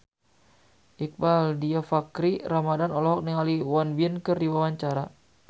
Iqbaal Dhiafakhri Ramadhan olohok ningali Won Bin keur diwawancara